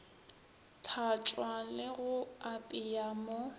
tlhatšwa le ga apeya mo